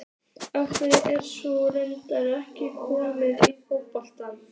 Af hverju er sú regla ekki komin í fótbolta?